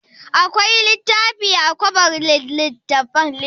Akwai littafi a kobar littattafan?